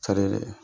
Cari dɛ